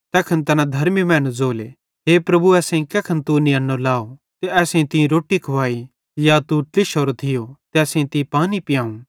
तैखन तैना धर्मी मैनन् ज़ोलो हे प्रभु असेईं कैखन तू नियन्नो लाव ते असेईं तीं रोट्टी खुवाई या तू ट्लिशोरो थियो ते असेईं तीं पानी पियांव